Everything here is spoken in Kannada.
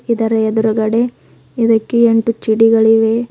ಇದರ ಎದುರುಗಡೆ ಇದಕ್ಕೆ ಎಂಟು ಚಡಿಗಳಿವೆ.